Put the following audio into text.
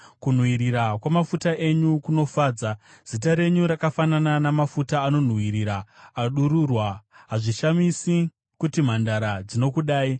Kunhuhwirira kwamafuta enyu kunofadza; zita renyu rakafanana namafuta anonhuwirira adururwa. Hazvishamisi kuti mhandara dzinokudai!